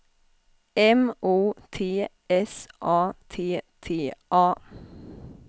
M O T S A T T A